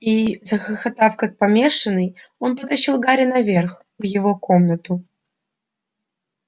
и захохотав как помешанный он потащил гарри наверх в его комнату